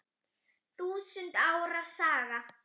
Þúsund ára saga